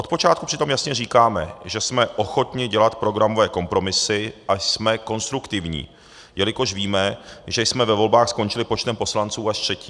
Od počátku přitom jasně říkáme, že jsme ochotni dělat programové kompromisy a jsme konstruktivní, jelikož víme, že jsme ve volbách skončili počtem poslanců až třetí.